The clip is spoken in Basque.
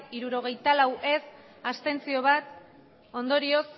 hirurogeita lau abstentzioak bat ondorioz